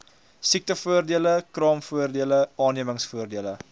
siektevoordele kraamvoordele aannemingsvoordele